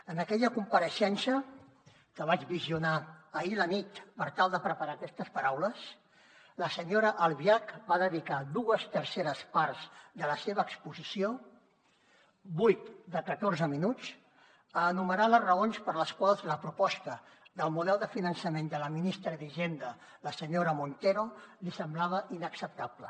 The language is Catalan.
en aquella compareixença que vaig visionar ahir a la nit per tal de preparar aquestes paraules la senyora albiach va dedicar dues terceres parts de la seva exposició vuit de catorze minuts a enumerar les raons per les quals la proposta del model de finançament de la ministra d’hisenda la senyora montero li semblava inacceptable